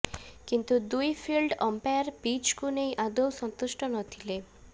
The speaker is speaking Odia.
କିନ୍ତୁ ଦୁଇ ଫିଲ୍ଡ ଅମ୍ପାୟାର ପିଚକୁ ନେଇ ଆଦୌ ସନ୍ତୁଷ୍ଟ ନଥିଲେ